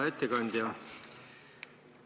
Hea ettekandja!